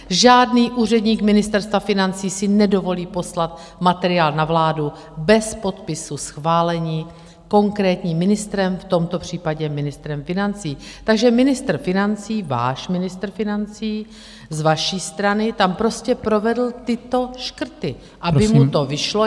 Žádný úředník Ministerstva financí si nedovolí poslat materiál na vládu bez podpisu schválení konkrétním ministrem, v tomto případě ministrem financí, takže ministr financí, váš ministr financí z vaší strany tam prostě provedl tyto škrty, aby mu to vyšlo.